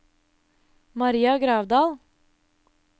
Maria Gravdal